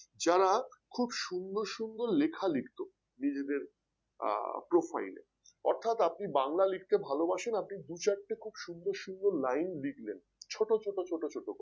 যারা খুব সুন্দর সুন্দর লেখা লিখতো নিজেদের আহ profile এ অর্থাৎ আপনি বাংলা লিখতে ভালোবাসেন আপনি দু চারটে খুব সুন্দর সুন্দর লাইন লিখলেন ছোট ছোট করে